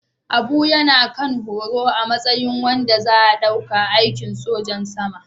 Abu yana kan horo a matsayin wanda za a ɗauka a aikin sojan sama